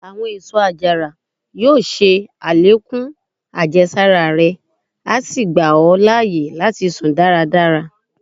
Àwọn èsó àjàrà yóò ṣe àlékún àjẹsára rẹ, a sí gba ọ láàyè láti sùn dáradára.